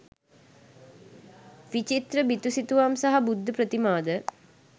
විචිත්‍ර බිතුසිතුවම් සහ බුද්ධ ප්‍රතිමාද